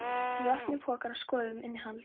Við opnuðum pokann og skoðuðum innihaldið.